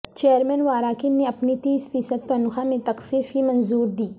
chairman واراکین نے اپنی تیس فی صدتنخواہ میں تخفیف کی منظوردی